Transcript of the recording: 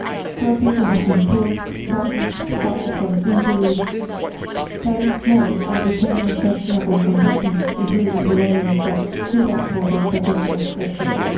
Four people have been killed, thousands are suffering from injuries, thousands more have been detained in questionable conditions, including the lawyers that stood up for the protestors yesterday.